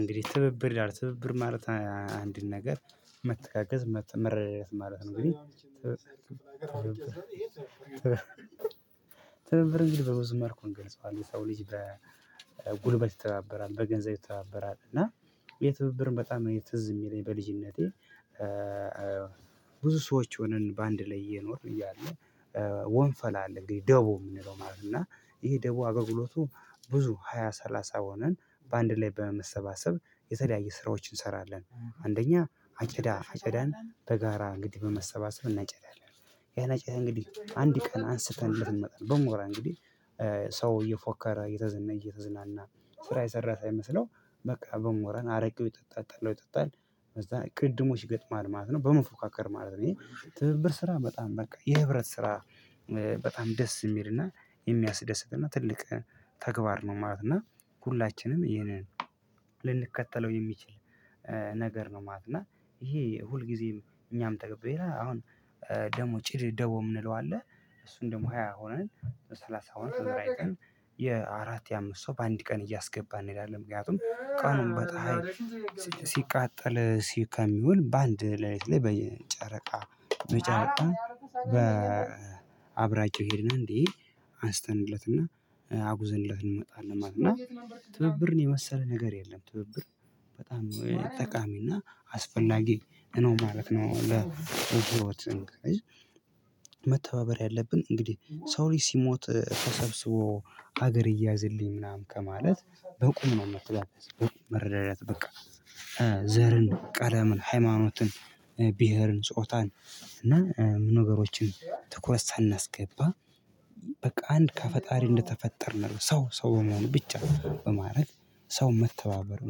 እንግዲህ ትብብር ይላል ትብብር ማለት አንድን ነገር መተጋገዝ መረዳደት ማለት ነው። እንግዲህ ትብብር እንግዲህ በብዙ መልኩ እንገልጸዋለን። ሰው ልጅ በጉልበት ይተባበራል በገንዘብ ይተባበራል እና የትብብርም በጣም ትዝ የሚለኝ በልጅነቴ። ብዙ ሰዎች ሆነን በአንድ ላይ እየኖርን እያለ ወንፈል አለ እንግዲህ ደቦ የምንለው ማለት ነው። እና ይሄ ደቡብ አገልግሎቱ ብዙ ሃያ ሰላሳ ሆነን በአንድ ላይ በመሰባሰብ የተለያየ ስራዎችን እንሰራለን። አንደኛ አጨዳ አጨዳን በጋራ እንግዲህ በመሰባሰብ እናጨዳለን። ያን አጨዳ እንግዲህ አንድ ቀን አንስተን ልትመጣ ነው በሞራ እንግዲህ ሰው እየፎከረ እየተዘነየ እየተዝናና ስራ የሰራ ሳይመስለው በቃ በሞራን አረቄው ይጠጣል ጠላው ይጠጣል በዛ ቅድድሞች ይገጥማል ማለት ነው። በመፎካከር ማለት ነው ይሄ ትብብር ስራ በጣም በቃ የህብረት ስራ በጣም ደስ የሚልና የሚያስደስትና ትልቅ ተግባር ነው ማለት ነው። እና ሁላችንም ይህንን ልንከተለው የሚችል ነገር ነው ማለት ነው። ይሄ ሁልጊዜም እኛም ተገብቼ አሁን ደግሞ ጭድ ደቦ የምንለው አለ። እሱን ደግሞ ሃያ ሆነን ሰላሳ አሁን ስምር አይተን የአራት የአምስት ሰው በአንድ ቀን እያስገባን እንሄዳለን። ምክንያቱም ቀኑን በፀሀይ ሲቃጠል ከሚውል በአንድ ለሊት ላይ በጨረቃ በጨረቃ በአብራቸው ሄድና እንዲህ አንስተንለትና አጉዘንለት እንመጣለን ማለት ነው። እና ትብብርን የመሰለ ነገር የለም። ትብብር በጣም ጠቃሚና አስፈላጊ ነው ማለት ነው። መተባበር ያለብኝ ያለብን እንግዲህ ሰው ልጅ ሲሞት ተሰብስቦ ሀገር እያዝልኝ ምናምን ከማለት በቁም ነው መተጋገዝ መረዳደት በቃ። ዘርን ቀለምን ሃይማኖትን ብሄርን ጾታን እና ምን ነገሮችን ትኩረት ሳናስገባ በቃ አንድ ከፈጣሪ እንደተፈጠርን ሰው ሰው በመሆኑ ብቻ በማድረግ ሰው መተባበር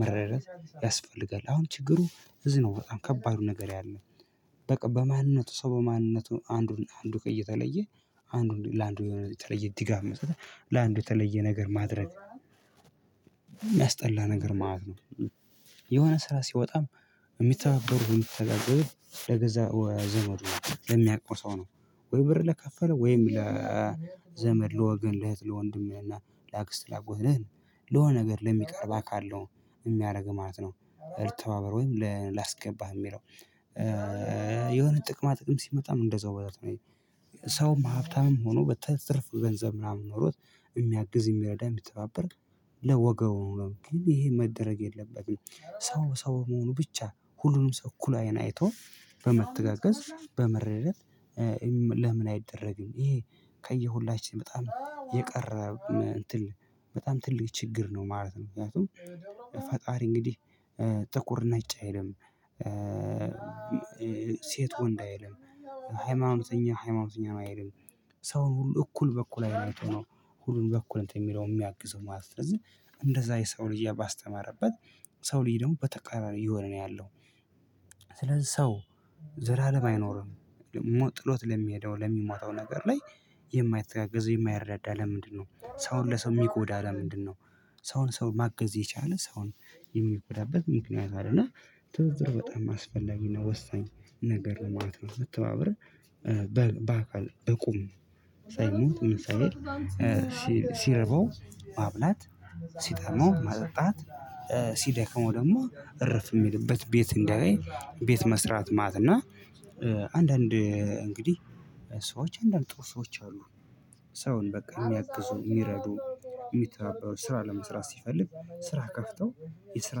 መረዳዳት ያስፈልጋል። አሁን ችግሩ እዚህ ነው በጣም ከባዱ ነገር ያለው በቃ በማንነቱ ሰው በማንነቱ አንዱን አንዱ ጋ እየተለየ አንዱ ለአንዱ የሆነ የተለየ ድጋፍ መስጠት ለአንዱ የተለየ ነገር ማድረግ የሚያስጠላ ነገር ማለት ነው። የሆነ ስራ ሲወጣም የሚተባበሩን ተደጋግሞ ዘመድ የሚያቆጣው ነው። ወይ ብር ለከፈለ ወይም ለዘመድ ለወገን ለእህት ለወንድሜና ለአክስት ለአጎት ለሆነ ነገር ለሚቀርብ አካል ነው የሚያደርግ ማለት ነው። ተባብሮኝ ወይም ላስገባህ የሚለው የሆነ ጥቅማ ጥቅም ሲመጣ እንደዛው ቦታ ነው። ሀብታምም ሆኖ በትርፉ ገንዘብ ምናምን ኖሮት የሚያግዝ የሚረዳ የሚተባበር ለወገኑ ነው። ግን ይሄ መደረግ የለበትም ሰው ሰው መሆኑ ብቻ ሁሉንም ሰው እኩል አይን አይቶ በመተጋገዝ በመረዳዳት። ለምን አይደረግም? ይሄ ከሁላችን በጣም የቀረ በጣም ትልቅ ችግር ነው ማለት ነው። ምክንያቱም ፈጣሪ እንግዲህ ጥቁር ነጭ አይልም። ሴት ወንድ አይልም። ሃይማኖተኛ ሃይማኖተኛ ነው አይልም። ሰው ሁሉ እኩል በእኩል አይን አይቶ ሁሉን በእኩል እንትን የሚለው የሚያግዘው ማለት ነው። እንደዛ የሰው ልጅ ባስተማረበት ሰው ልጅ ደግሞ በተቃራኒ የሆነ ነው ያለው። ስለዚህ ሰው ዘላለም አይኖርም። ጥሎት ለሚሄደው ለሚሞታው ነገር ላይ የማይተጋገዝ የማይረዳዳ ለምንድነው? ሰው ሰውን የሚጎዳው ለምንድነው? ሰውን ሰው ማገዝ የቻለ ሰውን የሚጎዳበት ምክንያት አለ። እና ትብብር በጣም አስፈላጊ ነው ወሳኝ ነገር ለማለት ነው። የምትተባረው። በአካል በቁም ሳይሞት ሳይሄድ ሲርበው ማብላት ሲጠማው ማጠጣት ሲደከሙ ደግሞ እርፍ የሚልበት ቤት እንዲያገኝ ቤት መስራት ማለትና። አንዳንድ እንግዲህ ሰዎች አንዳንድ ጥሩ ሰዎች አሉ። ሰውን በቃ የሚያግዙ የሚረዱ የሚተባበሩ ስራ ለመስራት ሲፈልግ ስራ ከፍተው የስራ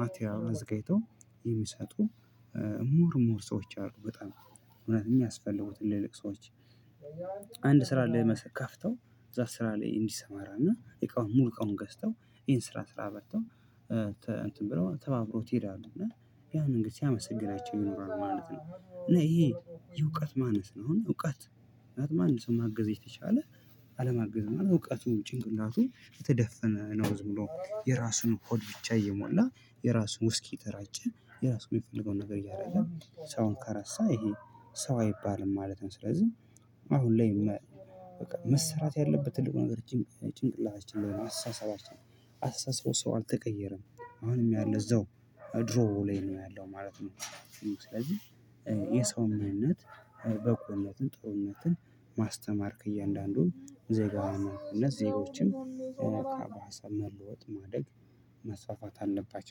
ማቴሪያሉን አዘጋጅተው የሚሰጡ። ምሁር ምሁር ሰዎች አሉ በጣም እውነት የሚያስፈልጉት እንደዚህ አይነት ሰዎች። አንድ ስራ ላይ ከፍተው እዛ ስራ ላይ እንዲሰማራና ሙሉ እቃውን ገዝተው ይሄን ስራ ስራ እንትን ብለው ተባብረውት ይሄዳሉ እና ያንን እንግዲህ ሲያመሰግናቸው ይኖራሉ ማለት ነው። እና ይሄ የእውቀት ማነስ ነው። አሁን እውቀት ምክንያቱም ማገዝ የተቻለ አለማገዝ እውቀቱ ጭንቅላቱ የተደፈነ ነው። ዝም ብሎ የራሱን ሆድ ብቻ እየሞላ የራሱን ውስኪ የተራጨ የራሱ የሚፈልገውን ነገር እያደረገ ሰውን ከረሳ ይሄ ሰው አይባልም ማለት ነው። ስለዚህ አሁን ላይ በቃ መሰራት ያለበት ትልቁ ነገር ጭንቅላታችን ነው። አስተሳሰባችን አስተሳሰቡ ሰው አልተቀየረም። አሁንም ያለው እዛው ድሮ ላይ ነው ያለው ማለት ነው። ስለዚህ የሰው ምንነት በጎነትን ጥሩነትን ማስተማር ከእያንዳንዱ ዜጋ እነዚህ ዜጎችን በሀሳብ መለወጥ ማደግ መስፋፋት አለባቸው